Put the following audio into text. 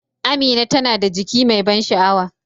Amina tana da jiki mai ban sha'awa.